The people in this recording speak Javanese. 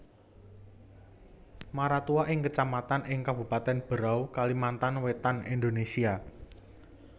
Maratua iku Kecamatan ing Kabupatèn Berau Kalimantan Wétan Indonesia